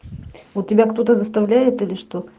ну тебя кто-то заставляет или что